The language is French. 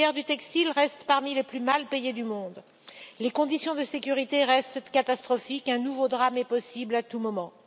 Les ouvrières du textile restent parmi les plus mal payées du monde, les conditions de sécurité restent catastrophiques et un nouveau drame est possible à tout moment.